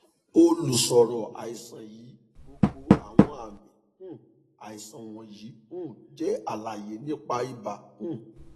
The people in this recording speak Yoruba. olùṣòro àìsàn yìí gbogbo awọn aami um aisan wọnyi um jẹ alaye nipa iba um